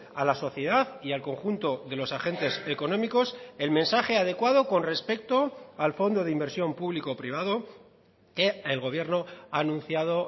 a la sociedad y al conjunto de los agentes económicos el mensaje adecuado con respecto al fondo de inversión público privado que el gobierno ha anunciado